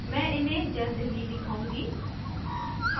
मैं इन्हें जल्द ही दिखाऊंगी